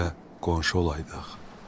Sizə qonşu olaydıq.